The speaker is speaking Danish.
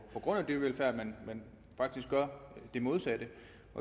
på grund af dyrevelfærd men faktisk gør det modsatte